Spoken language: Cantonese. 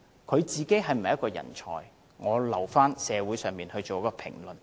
他是否人才，我留待社會作出評論。